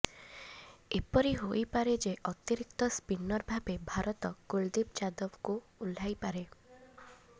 ଏପରି ହୋଇପାରେ ଯେ ଅତିରିକ୍ତ ସ୍ପିନର ଭାବେ ଭାରତ କୁଲଦୀପ ଯାଦବଙ୍କୁ ଓହ୍ଲାଇପାରେ